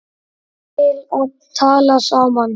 til að tala saman